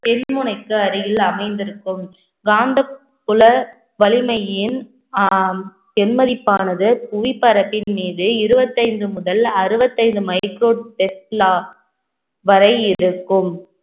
தென் முனைக்கு அருகில் அமைந்திருக்கும் காந்த குல வலிமையின் ஆஹ் மதிப்பானது புவி பரப்பின் மீது இருபத்தைந்து முதல் அறுபத்தைந்து வரை இருக்கும்